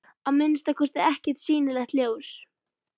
Að minnsta kosti ekkert sýnilegt ljós.